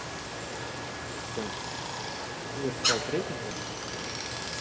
Kristján: Þú vilt fá breytingu?